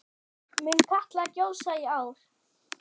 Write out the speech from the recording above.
Mun Katla gjósa í ár?